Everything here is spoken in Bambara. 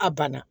A banna